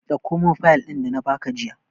Dauko min fayil ɗin da na ba ka jiya!